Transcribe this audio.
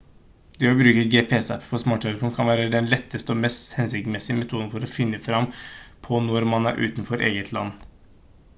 det å bruke gps-apper på smarttelefonen kan være den letteste og mest hensiktsmessige metoden for å finne fram på når man er utenfor eget land